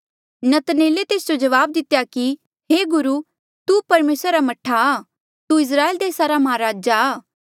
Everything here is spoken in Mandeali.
नतनएले तेस जो जवाब दितेया कि हे गुरु तू परमेसरा रा मह्ठा आ तू इस्राएल देसा रा माहराजा आ